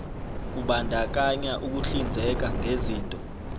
kubandakanya ukuhlinzeka ngezinto